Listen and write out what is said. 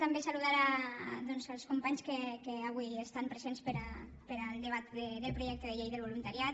també saludar els companys que avui estan presents per al debat del projecte de llei del voluntariat